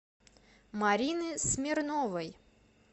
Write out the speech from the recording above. марины смирновой